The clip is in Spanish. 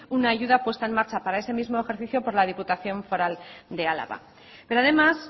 una ayuda puesta en marcha por ese mismo ejercicio por la diputación foral de álava pero además